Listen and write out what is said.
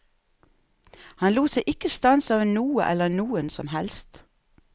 Han lot seg ikke stanse av noe eller noen som helst.